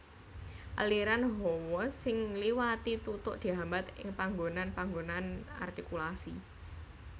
Aliran hawa sing ngliwati tutuk dihambat ing panggonan panggonan artikulasi